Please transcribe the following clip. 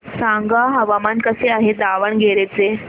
सांगा हवामान कसे आहे दावणगेरे चे